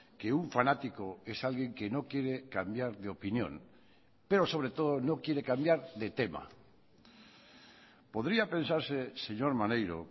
que un fanático es alguien que no quiere cambiar de opinión pero sobre todo no quiere cambiar de tema podría pensarse señor maneiro